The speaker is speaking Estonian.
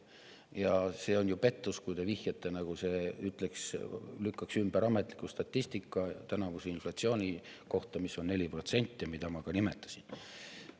Ja see on ju pettus, kui te vihjate, nagu see lükkaks ümber ametliku statistika tänavuse inflatsiooni kohta, mis on 4% ja mida ma ka nimetasin.